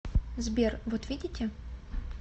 сбер вот видите